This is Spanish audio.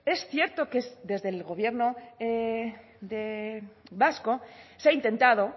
es cierto que desde el gobierno vasco se ha intentado